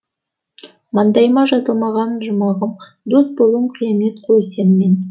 маңдайыма жазылмаған жұмағым дос болуым қиямет қой сенімен